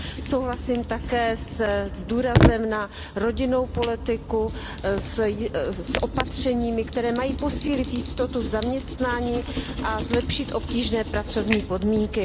Souhlasím také s důrazem na rodinnou politiku, s opatřeními, která mají posílit jistotu v zaměstnání a zlepšit obtížné pracovní podmínky.